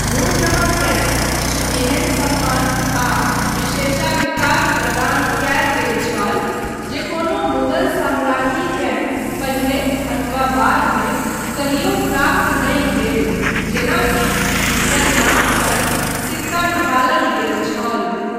नूरजहाँकेँ किछु एहन सम्मान आ विशेषाधिकार प्रदान कयल गेल छल जे कोनो मुगल साम्राज्ञीकेँ पहिने अथवा बाद मे कहियो प्राप्त नहि भेल जेना कि हुनकर नाम पर सिक्का ढ़ालल गेल। छल।